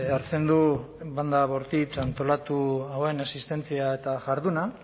hartzen du banda bortitz antolatu hauen existentzia eta jarduna